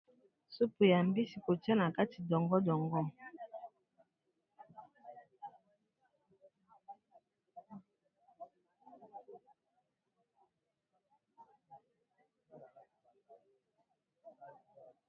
Supu ya mbisi kotia na kati dongo-dongo.